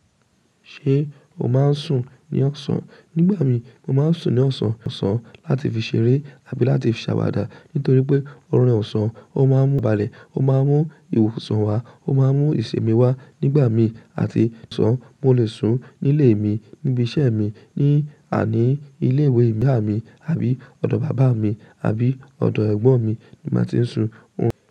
Ṣé o máa ń sùn ní ọ̀sán? Nígbà mi, mo máa ń sùn ní ọ̀sán, ọ̀sán láti fi ṣeré àbí láti fi ṣàwàdà. Nítorí pé ọ̀run ọ̀sán, ó máa ń mú ìbalẹ̀, ó máa ń mú ìwòsàn wá, ó máa ń mú ìṣimi wá. Nígbà mi àti sun mo lè sùn nílé mi, níbi iṣẹ́ mi, ní àní ilé ìwé ìyá mi àbí ọ̀dọ̀ bàbá mi, àbí ọ̀dọ̀ ẹ̀gbọ́n mi ni màá ti sùn.